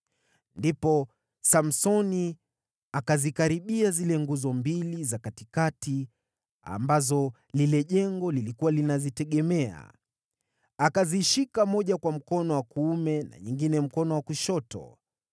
Ndipo Samsoni akazikaribia zile nguzo mbili za katikati ambazo lile jengo lilikuwa linazitegemea. Akazishika moja kwa mkono wa kuume na nyingine mkono wa kushoto.